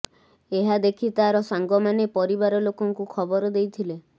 ଏହା ଦେଖି ତାର ସାଙ୍ଗମାନେ ପରିବାର ଲୋକଙ୍କୁ ଖବର ଦେଇଥିଲେ